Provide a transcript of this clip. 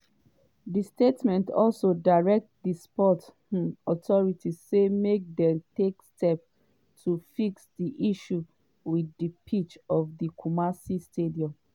di statement also direct di sports um authority say make dem “take steps to fix di issues wit di pitch for di kumasi stadium.”